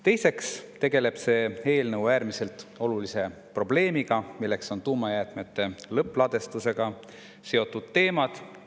Teiseks tegeleb see eelnõu äärmiselt olulise probleemiga, tuumajäätmete lõppladustusega seotud teemadega.